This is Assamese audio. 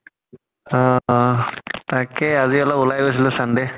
অ অহ তাকে আজি অলপ ওলাই গৈছিলো sunday